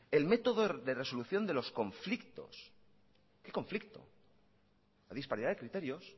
el método de resolución de los conflictos qué conflicto la disparidad de criterios